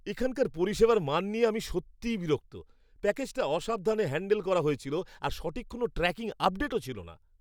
এখানকার পরিষেবার মান নিয়ে আমি সত্যিই বিরক্ত। প্যাকেজটা অসাবধানে হ্যাণ্ডেল করা হয়েছিল আর সঠিক কোনও ট্র্যাকিং আপডেটও ছিল না!